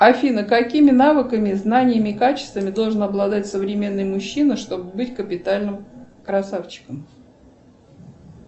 афина какими навыками знаниями и качествами должен обладать современный мужчина чтобы быть капитальным красавчиком